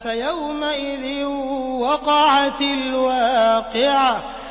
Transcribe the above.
فَيَوْمَئِذٍ وَقَعَتِ الْوَاقِعَةُ